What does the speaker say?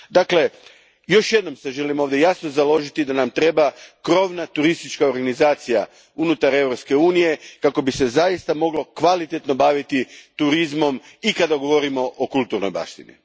Dakle, još jednom se želim ovdje jasno založiti da nam treba krovna turistička organizacija unutar Europske unije, kako bi se zaista moglo kvalitetno baviti turizmom i kada govorimo o kulturnoj baštini.